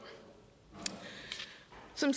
som